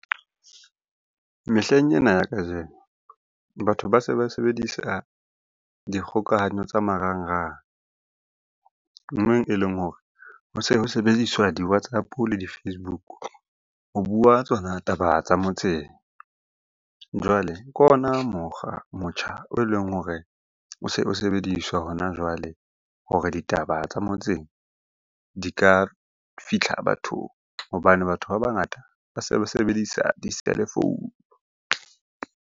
Mehleng ena ya kajeno batho ba se ba sebedisa dikgokahanyo tsa marangrang. Moo e leng hore ho se ho sebediswa. Di-WhatsApp-o le di Facebook ho bua tsona taba tsa motseng. Jwale ke ona mokgwa, motjha o leng hore o se o sebediswa hona jwale hore ditaba tsa motseng di ka fitlha bathong hobane batho ba bangata ba se ba sebedisa di-cellphone.